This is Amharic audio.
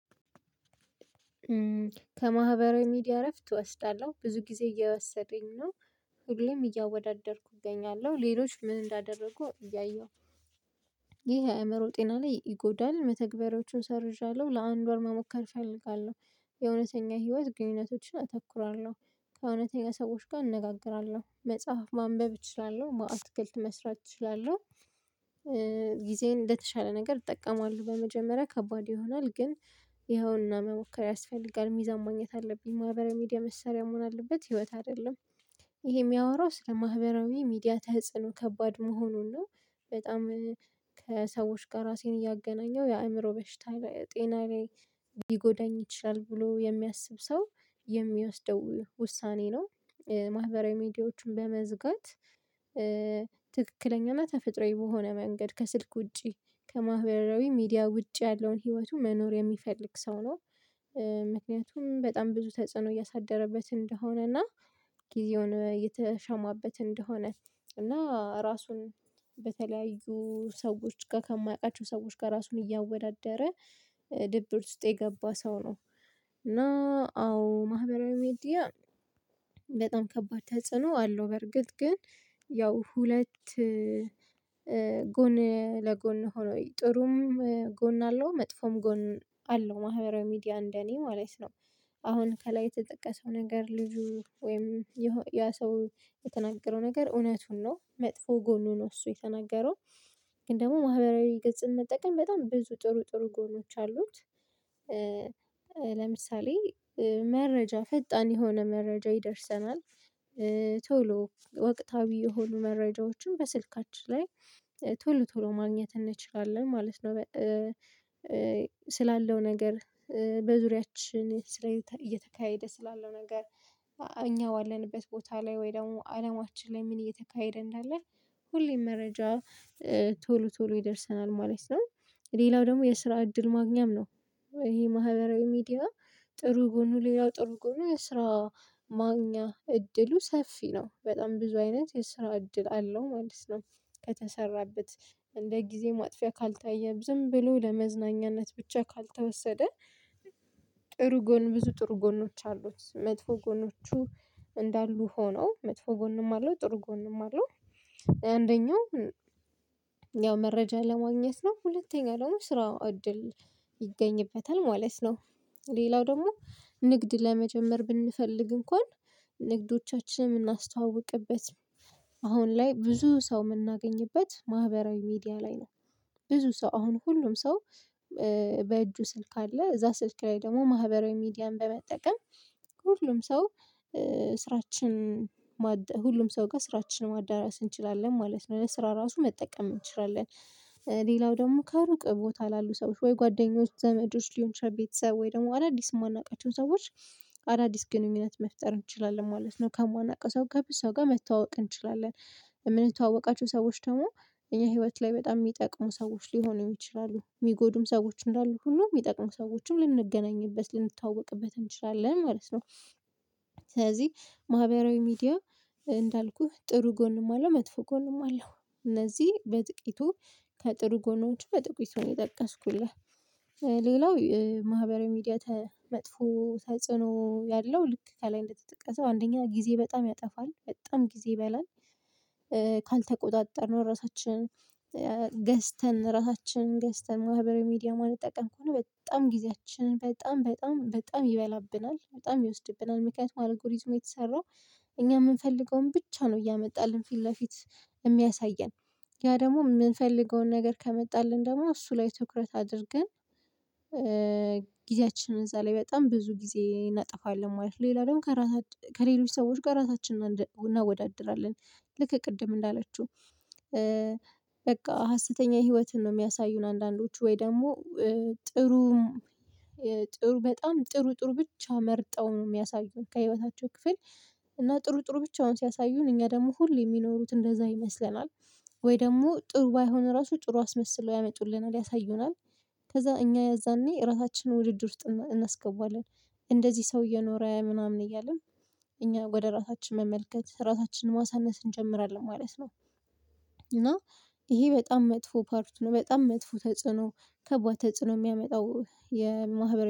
ከማህበራዊ ሚዲያ እረፍት እወስዳለሁ ብዙ ጊዜ እየወሰደኝ ነው። ሁሌም እያወዳደርኩ እገኛለሁ ሌሎች ምን እንዳደረጉ እያየሁ ይሄ የአእምሮ ጤና ላይ ይጎዳል። መተግበሪያዎቹን ሰርዣለሁ ለአንድ ወር መሞከር እፈልጋለሁ የእውነተኛ ህይወት ግንኙነቶችን አተኩራለሁ ከእውነተኛ ሰዎች ጋር እንነጋገራለሁ መጽሐፍ ማንበብ እችላለሁ አትክልት መስራት እችላለሁ። ጊዜዬን እንደተሻለ ነገር እጠቀማሉ በመጀመሪያ ከባድ ይሆናል። ግን ይኸውና መሞከር ያስፈልጋል ሚዛን ማግኘት አለብኝ ማህበራዊ ሚዲያ መሳሪያ መሆን አለበት ህይወት አይደለም። ይሄ የሚያወራው ስለ ማህበራዊ ሚዲያ ተጽዕኖ ከባድ መሆኑን ነው። በጣም ከሰዎች ጋር ራሴን እያገናኘው የአእምሮ በሽታ ጤና ላይ ሊጎዳኝ ይችላል ብሎ የሚያስብ ሰው የሚወስደው ውሳኔ ነው። ማህበራዊ ሚዲያዎችን በመዝጋት ትክክለኛና ተፈጥሮአዊ በሆነ መንገድ ከስልክ ውጪ ከማህበራዊ ሚዲያ ውጪ ያለውን ህይወቱ መኖር የሚፈልግ ሰው ነው። ምክንያቱም በጣም ብዙ ተጽዕኖ እያሳደረበት እንደሆነ እና ጊዜውን እየተሻማበት እንደሆነ እና ራሱን በተለያዩ ሰዎች ጋር ከማያውቃቸው ሰዎች ጋር ራሱን እያወዳደረ ድብርት ውስጥ የገባ ሰው ነው። እና አዎ ማህበራዊ ሚዲያ በጣም ከባድ ተጽዕኖ አለው። በርግጥ ግን ያው ሁለት ጎን ለጎን ሆኖ ጥሩም ጎን አለው መጥፎም ጎን አለው ማህበራዊ ሚዲያ እንደኔ ማለት ነው። አሁን ከላይ የተጠቀሰው ነገር ልጁ ወይም ያ ሰው የተናገረው ነገር እውነቱን ነው መጥፎ ጎኑ ነው። እሱ የተናገረው ግን ደግሞ ማህበራዊ ገጽን መጠቀም በጣም ብዙ ጥሩ ጥሩ ጎኖች አሉት። ለምሳሌ መረጃ ፈጣን የሆነ መረጃ ይደርሰናል። ቶሎ ወቅታዊ የሆኑ መረጃዎችን በስልካችን ላይ ቶሎ ቶሎ ማግኘት እንችላለን ማለት ነው። ስላለው ነገር በዙሪያችን ላይ እየተካሄደ ስላለው ነገር እኛ ባለንበት ቦታ ላይ ወይ ደግሞ አለማችን ላይ ምን እየተካሄደ እንዳለ ሁሌም መረጃ ቶሎ ቶሎ ይደርሰናል ማለት ነው። ሌላው ደግሞ የስራ እድል ማግኛም ነው። ይሄ ማህበራዊ ሚዲያ ጥሩ ጎኑ ሌላው ጥሩ ጎኑ የስራ ማግኛ እድሉ ሰፊ ነው በጣም ብዙ አይነት የስራ እድል አለው ማለት ነው። ከተሰራበት እንደ ጊዜ ማጥፊያ ካልታየም ዝም ብሎ ለመዝናኛነት ብቻ ካልተወሰደ። ጥሩ ጎን ብዙ ጥሩ ጎኖች አሉት መጥፎ ጎኖቹ እንዳሉ ሆነው መጥፎ ጎንም አለው ጥሩ ጎንም አለው። አንደኛው ያው መረጃ ለማግኘት ነው ሁለተኛ ደግሞ ስራው እድል ይገኝበታል ማለት ነው። ሌላው ደግሞ ንግድ ለመጀመር ብንፈልግ እንኳን ንግዶቻችንን የምናስተዋውቅበት አሁን ላይ ብዙ ሰው የምናገኝበት ማህበራዊ ሚዲያ ላይ ነው። ብዙ ሰው አሁን ሁሉም ሰው በእጁ ስልክ አለ እዛ ስልክ ላይ ደግሞ ማህበራዊ ሚዲያን በመጠቀም ሁሉም ሰው ስራችን ሁሉም ሰው ጋር ስራችንን ማዳረስ እንችላለን ማለት ነው ለስራ ራሱ መጠቀም እንችላለን። ሌላው ደግሞ ካሩቅ ቦታ ላሉ ሰዎች ወይ ጓደኞች ዘመዶች ሊሆን ይችላል ቤተሰብ ወይ ደግሞ አዳዲስ የማናውቃቸውን ሰዎች አዳዲስ ግንኙነት መፍጠር እንችላለን ማለት ነው። ከማናቀው ሰው ጋር ሰው ጋር መተዋወቅ እንችላለን። የምንተዋወቃቸው ሰዎች ደግሞ እኛ ህይወት ላይ በጣም የሚጠቅሙ ሰዎች ሊሆኑ ይችላሉ የሚጎዱም ሰዎች እንዳሉ ሁሉ የሚጠቅሙ ሰዎችም ልንገናኝበት ልንታወቅበት እንችላለን ማለት ነው። ስለዚህ ማህበራዊ ሚዲያ እንዳልኩህ ጥሩ ጎንም አለው መጥፎ ጎንም አለው። እነዚህ በጥቂቱ ከጥሩ ጎኖች በጥቂቱ ነው የጠቀስኩልህ። ሌላው ማህበራዊ ሚዲያ መጥፎ ተጽዕኖ ያለው ልክ ከላይ እንደተጠቀሰው አንደኛ ጊዜ በጣም ያጠፋል በጣም ጊዜ ይበላል። ካልተቆጣጠርነው ራሳችንን ገዝተን ራሳችን ገዝተን ማህበራዊ ሚዲያ ማንጠቀም ከሆነ በጣም ጊዜያችን በጣም በጣም በጣም ይበላብናል በጣም ይወስድብናል። ምክንያቱም አልጎሪዝም የተሰራው እኛ የምንፈልገውን ብቻ ነው እያመጣልን ፊት ለፊት የሚያሳየን ያ ደግሞ የምንፈልገውን ነገር ከመጣልን ደግሞ እሱ ላይ ትኩረት አድርገን። ጊዜያችንን እዛ ላይ በጣም ብዙ ጊዜ እናጠፋለን ማለት ነው። ሌላ ደግሞ ከሌሎች ሰዎች ጋር ራሳችንን እናወዳድራለን። ልክ ቅድም እንዳለችው በቃ ሀሰተኛ ህይወትን ነው የሚያሳዩን አንዳንዶቹ ወይ ደግሞ ጥሩም ጥሩ በጣም ጥሩ ጥሩ ብቻ መርጠው ነው የሚያሳዩን ከህይወታቸው ክፍል እና ጥሩ ጥሩ ብቻውን ሲያሳዩን እኛ ደግሞ ሁሌ የሚኖሩት እንደዛ ይመስለናል። ወይ ደግሞ ጥሩ ባይሆን ራሱ ጥሩ አስመስሎ ያመጡልናል ያሳዩናል። ከዛ እኛ የዛኔ እራሳችንን ውድድር ውስጥ እናስገባዋለን። እንደዚህ ሰው እየኖረ ምናምን እያልን እኛ ወደ ራሳችን መመልከት ራሳችንን ማሳነስ እንጀምራለን ማለት ነው። እና ይሄ በጣም መጥፎ ፓርት ነው። በጣም መጥፎ ተጽዕኖ ከባድ ተጽዕኖ የሚያመጣው የማህበራዊ